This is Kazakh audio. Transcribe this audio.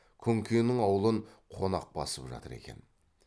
күнкенің аулын қонақ басып жатыр екен